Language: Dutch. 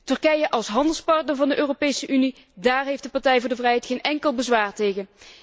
Turkije als handelspartner van de Europese Unie, daar heeft de Partij voor de Vrijheid geen enkel bezwaar tegen.